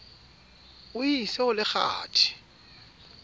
o e ise ho lekgathe